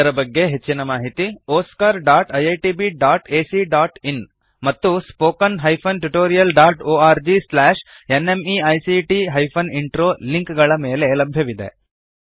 ಇದರ ಬಗ್ಗೆ ಹೆಚ್ಚಿನ ಮಾಹಿತಿ oscariitbacಇನ್ ಮತ್ತು spoken tutorialorgnmeict ಇಂಟ್ರೋ ಲಿಂಕ್ ಗಳ ಮೇಲೆ ಲಭ್ಯವಿದೆ